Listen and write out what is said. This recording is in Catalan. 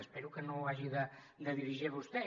espero que no ho hagi de dirigir vostè